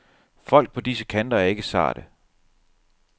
Folk på disse kanter er ikke sarte.